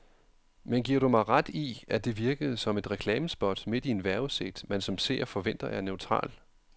Men giver du mig ret i, at det virkede som et reklamespot midt i en vejrudsigt, man som seer forventer er neutral.